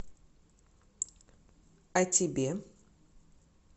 а тебе